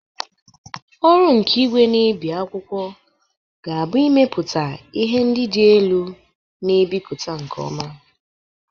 Ọrụ nke igwe na-ebi akwụkwọ ga-abụ ịmepụta ihe ndị dị elu na-ebipụta nke ọma.